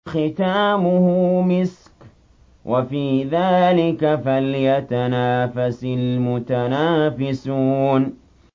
خِتَامُهُ مِسْكٌ ۚ وَفِي ذَٰلِكَ فَلْيَتَنَافَسِ الْمُتَنَافِسُونَ